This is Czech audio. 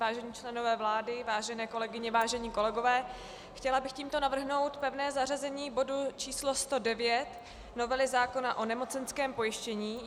Vážení členové vlády, vážené kolegyně, vážení kolegové, chtěla bych tímto navrhnout pevné zařazení bodu číslo 109, novely zákona o nemocenském pojištění.